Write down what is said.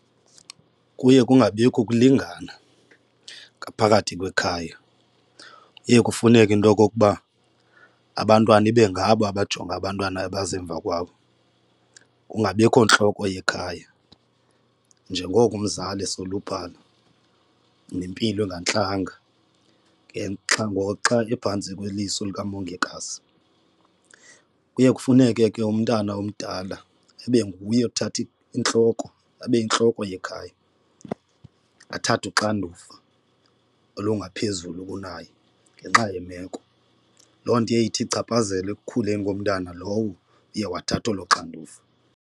Kuye kungabikho ukulingana ngaphakathi kwekhaya, kuye kufuneke into okokuba abantwana ibe ngabo abajonge abantwana abaza emva kwabo. Kungabikho ntloko yekhaya njengoko umzali esoluphala nempilo engantlanga ke xa ngoxa liphantsi kweliso lukamongikazi. Kuye kufuneke ke umntana omdala ibe nguye othatha intloko abe yintloko yekhaya, athathe uxanduva olungaphezulu kunaye ngenxa yemeko. Loo nto iye ithi ichaphazele ekukhuleni komntwana lowo uye wathatha olo xanduva.